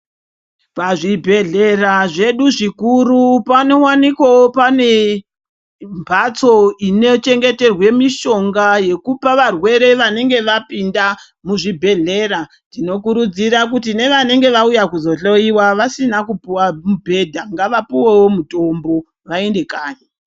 Pazvibhedhlera zvedu zvikuru pano wanikawo pane mhatso ino chengeterwe mushonga yekupa varwere vanenge vapinda muzvibhedhlera tinokurudzira nevanenge vauya kuzohloyiwa vasina mubhedha ngavapuwewo mutombo vaende kanyi.